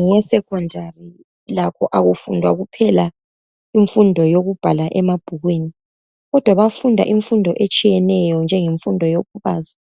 ngeyesecondary lakho akufundwa kuphela imfundo yokubhala emabhukwini kodwa bafunda imfundo etshiyeneyo njengemfundo yokubaza